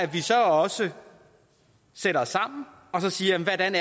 vi så også sætter os sammen og siger hvordan